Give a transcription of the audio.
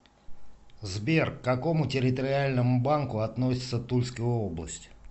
сбер к какому территориальному банку относится тульская область